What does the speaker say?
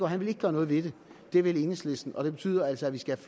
han vil ikke gøre noget ved det det vil enhedslisten og det betyder altså at vi skal